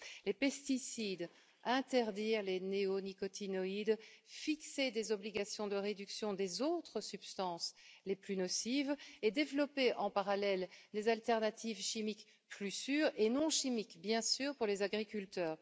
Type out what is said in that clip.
Les pesticides interdire les néonicotinoïdes, fixer des obligations de réduction des autres substances les plus nocives et développer en parallèle des alternatives chimiques plus sûres, et non chimiques, bien sûr, pour les agriculteurs.